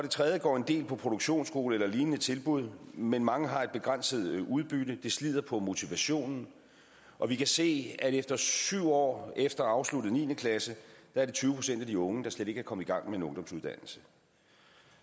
tredje går en del på produktionsskole eller et lignende tilbud men mange har et begrænset udbytte det slider på motivationen og vi kan se at det efter syv år efter afsluttet niende klasse er tyve procent af de unge der slet ikke er kommet i gang med en ungdomsuddannelse